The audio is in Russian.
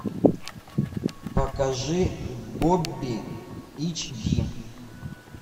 покажи бобби эйч ди